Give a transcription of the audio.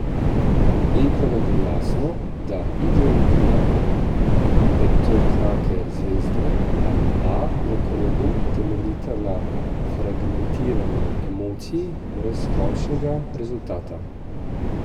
In ko nam bo jasno, da ideologija petokrake zvezde ali A v krogu temeljita na fragmentirani emociji brez končnega rezultata.